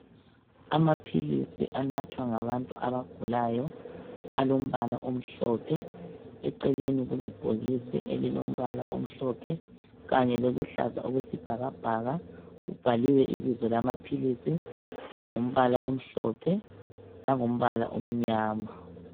Amaphilisi anathwa ngabantu abagulayo. Alombala omhlophe. Eceleni kulebhokisi elilombala omhlophe. Kanye loluhlaza okwesibhakabhaka. Kubhaliwe ibizo lamaphilisi, ngombala omhlophe, langombala omnyama..